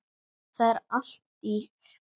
Það var allt ýkt.